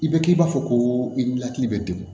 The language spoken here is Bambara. I bɛ k'i b'a fɔ ko i ni hakili bɛ degun